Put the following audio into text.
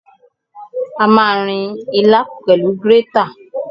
A ma rin ilá náà pẹ̀lú grétà.